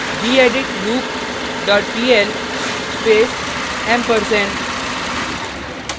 gedit loop dot pl space ampersand